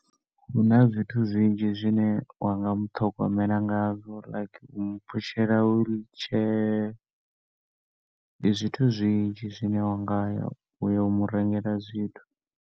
Huna zwithu zwinzhi zwine wanga mu ṱhogomela ngazwo like umu phushela wheelchair. Ndi zwithu zwinzhi zwine wa ngaya uyo umu rengela zwithu.